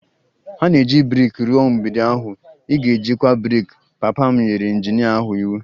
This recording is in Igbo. Ha na-eji brik rụọ mgbidi ahụ, ị ga-ejikwa brik! Papa m nyere injinia ahụ iwu